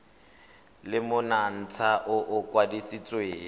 le monontsha o o kwadisitsweng